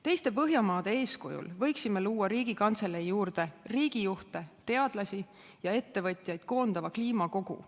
Teiste põhjamaade eeskujul võiksime luua Riigikantselei juurde riigijuhte, teadlasi ja ettevõtjaid koondava kliimakogu.